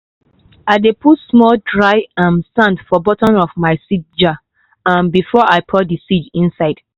i dey put small dry um sand for bottom of my seed jar um before i pour the seed inside.